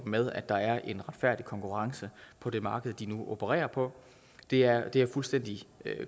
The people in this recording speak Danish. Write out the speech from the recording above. med at der er en retfærdig konkurrence på det marked de nu opererer på det er det er fuldstændig